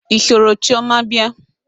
I soro chioma bia?